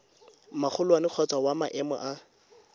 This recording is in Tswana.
magolwane kgotsa wa maemo a